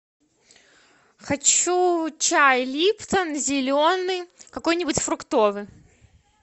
хочу чай липтон зеленый какой нибудь фруктовый